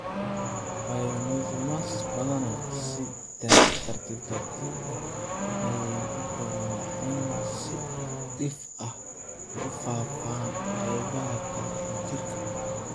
Pineocytomas badanaa si tartiib tartiib ah ayey u koraan waxayna si dhif ah ugu faafaan qaybaha kale ee jirka.